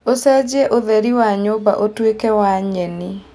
ũcenjie ũtheri wa nyũmba ũtuĩke wa nyeni